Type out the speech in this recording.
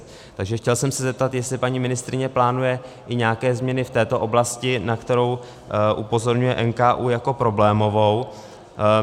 Takže chtěl jsem se zeptat, jestli paní ministryně plánuje i nějaké změny v této oblasti, na kterou upozorňuje NKÚ jako problémovou.